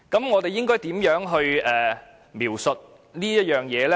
我們應該如何描述有關的原因呢？